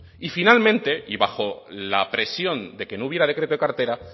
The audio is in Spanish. y finalmente y bajo la presión de que no hubiera decreto de cartera